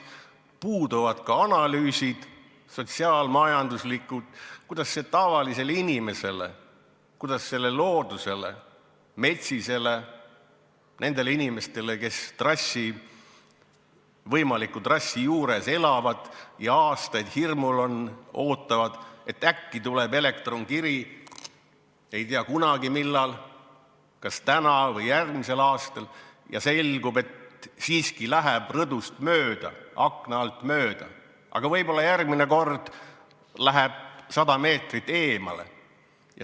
Puuduvad ka sotsiaal-majanduslikud analüüsid, kuidas see mõjub tavalisele inimesele, loodusele, metsisele, nendele inimestele, kes võimaliku trassi juures elavad ja on aastaid hirmul, ootavad, et äkki tuleb elektronkiri – ei tea kunagi millal, kas täna või järgmisel aastal – ja selgub, et siiski läheb rõdust mööda, akna alt mööda, aga võib-olla järgmine kord läheb sada meetrit eemale.